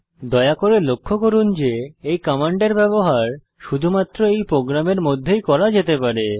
দয়া করে লক্ষ্য করুন যে এই কমান্ডের ব্যবহার শুধুমাত্র এই প্রোগ্রামের মধ্যেই করা যেতে পারে